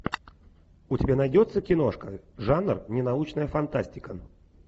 у тебя найдется киношка жанр ненаучная фантастика